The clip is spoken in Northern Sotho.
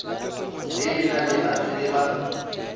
le lena le a tseba